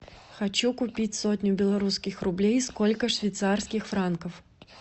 хочу купить сотню белорусских рублей сколько швейцарских франков